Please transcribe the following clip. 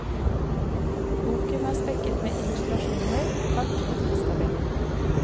Boken er spekket med illustrasjoner, kart og tidstabeller.